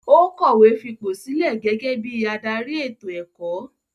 Ó kọ̀wé fipò sílẹ̀ gẹ́gẹ́ bí i adarí ètò-ẹ̀kọ́.